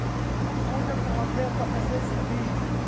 zifundo kumaphepha asesazulwini